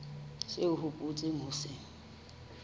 seo o hopotseng ho se